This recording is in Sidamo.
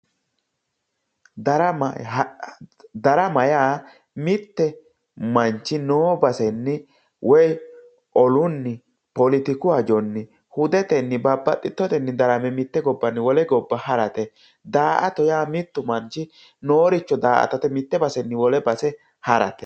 Darama hara, darama yaa mittu manchi noo basenni olounni woy hudetenni politiku hajonni hudetenni babbaxxiteyoote darame wole gobba harate. Daa"ata yaa mittu manchi nooricho daa"atate mitte basenni wole base harate.